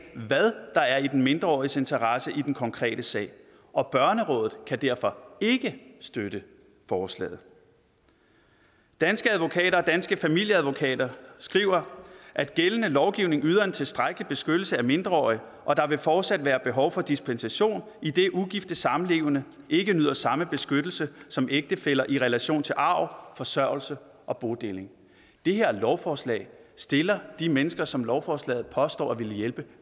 hvad der er i den mindreåriges interesse i den konkrete sag og børnerådet kan derfor ikke støtte forslaget danske advokater og danske familieadvokater skriver at gældende lovgivning yder en tilstrækkelig beskyttelse af mindreårige og at der fortsat vil være behov for dispensation idet ugifte samlevende ikke nyder samme beskyttelse som ægtefæller i relation til arv forsørgelse og bodeling det her lovforslag stiller de mennesker som lovforslaget påstår at ville hjælpe